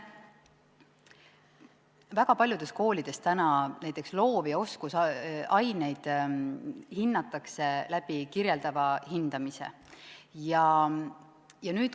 Väga paljudes koolides hinnatakse näiteks loov- ja oskusaineid kirjeldava hindamise abil.